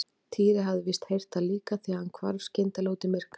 Týri hafði víst heyrt það líka því hann hvarf skyndilega út í myrkrið.